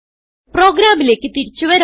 പ്രോഗ്രാമിലേക്ക് തിരിച്ച് വരാം